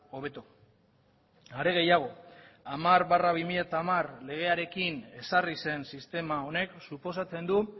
hobeto are gehiago hamar barra bi mila hamar legearekin ezarri zen sistema honek suposatzen du